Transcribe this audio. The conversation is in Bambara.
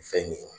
Fɛn min ye